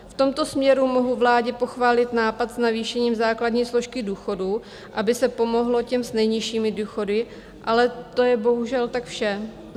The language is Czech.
V tomto směru mohu vládě pochválit nápad s navýšením základní složky důchodů, aby se pomohlo těm s nejnižšími důchody, ale to je bohužel tak vše.